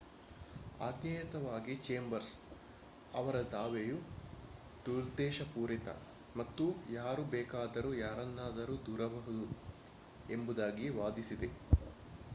ಆಜ್ಞೇಯತವಾಗಿ Chambers ಅವರ ದಾವೆಯು ದುರುದ್ದೇಶಪೂರಿತ ಮತ್ತು ಯಾರು ಬೇಕಾದರೂ ಯಾರನ್ನಾದರೂ ದೂರಬಹುದು ಎಂಬುದಾಗಿ ವಾದಿಸಿದೆ